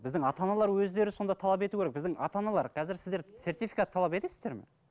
біздің ата аналар өздері сонда талап ету керек біздің ата аналар қазір сіздер сертификат талап етесіздер ме